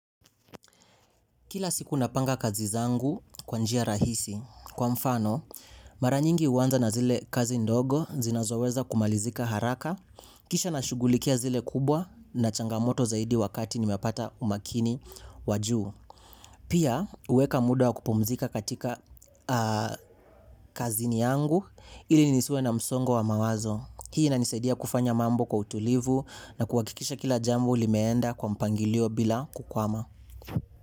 Kila siku napanga kazi zangu kwanjia rahisi. Kwa mfano, mara nyingi uwanza na zile kazi ndogo zina zoweza kumalizika haraka. Kisha na shugulikia zile kubwa na changamoto zaidi wakati nimepata umakini wajuu. Pia uweka muda kupumzika katika kazi niangu ili nisue na msongo wa mawazo. Hii ina nisaidia kufanya mambo kwa utulivu na kuwakikisha kila jambo limeenda kwa mpangilio bila kukwama.